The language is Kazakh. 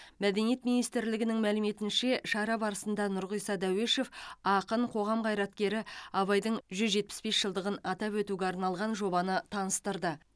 мәдениет министрлігінің мәліметінше шара барысында нұрғиса дәуешов ақын қоғам қайраткері абайдың жүз жетпіс бес жылдығын атап өтуге арналған жобаны таныстырды